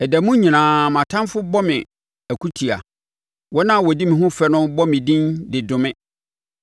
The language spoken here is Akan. Ɛda mu nyinaa mʼatamfoɔ bɔ me akutia. Wɔn a wɔdi me ho fɛ no bɔ me din de dome.